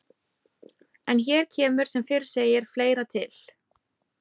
En hér kemur sem fyrr segir fleira til.